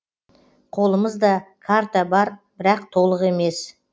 қолымыз да карта бар бірақ толық емес